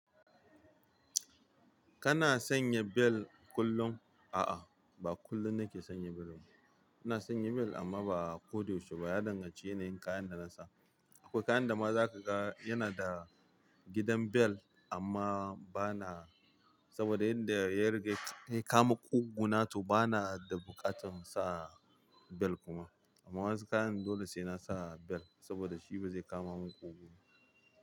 Kana sanya bel kullum? A'a ba kullin nake sanya brush, ina sanya mel amma ba ko yaushe ba ya danganta da yanayin kayan da nasa. Akwai kayan da ma za ka ga yana da gidan bel amma bana saboda yanda yariga ya kama ƙugu na to bana da buƙatar sa bel kuma. Amma wasu kayan dole sai na sa bel saboda shi bazai kama mun ƙugu ba.